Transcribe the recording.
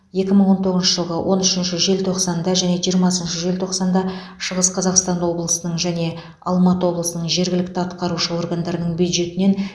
екі мың он тоғызыншы жылғы он үшінші желтоқсанда және жиырмасыншы желтоқсанда шығыс қазақстан облысының және алматы облысының жергілікті атқарушы органдарының бюджетінен